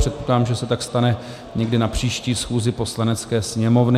Předpokládám, že se tak stane někdy na příští schůzi Poslanecké sněmovny.